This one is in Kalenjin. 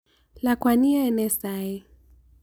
Lakwani, iyae nee saii.